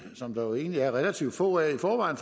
som der jo egentlig er relativt få af i forvejen